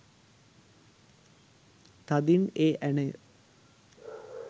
තදින් ඒ ඇණය